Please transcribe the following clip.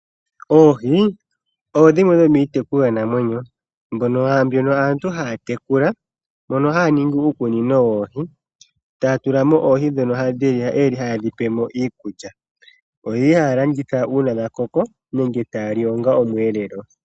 Oohi odho dhimwe dhomitekulwa namwenyo mbyono aantu haya tekula, mono hayaningi uukunino woohi tatulamo oohii dhono dhili hayedhipelemo iikulya , oyeli halanditha uuna dhakoko nenge taya li onga omwelelo.